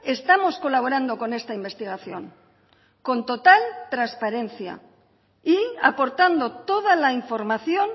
estamos colaborando con esta investigación con total transparencia y aportando toda la información